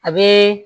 A bɛ